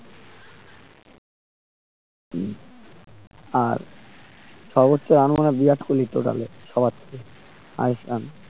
হু আর সর্বোচ্চ run মানে বিরাট কোহেলি র তো তাহলে সবার থেকে highest run